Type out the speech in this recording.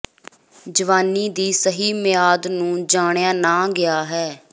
ਜਵਾਨੀ ਦੀ ਸਹੀ ਮਿਆਦ ਨੂੰ ਜਾਣਿਆ ਨਾ ਗਿਆ ਹੈ